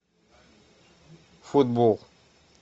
футбол